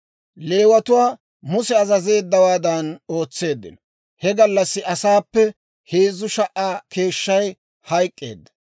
Leewatuu Muse azazeeddawaadan ootseeddino; he gallassi asaappe heezzu sha"aa keeshshay hayk'k'eedda.